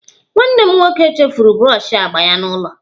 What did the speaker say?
Nwanne m nwoke chefuru brọshi agba ya n'ụlọ